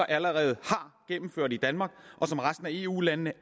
allerede har gennemført i danmark og som resten af eu landene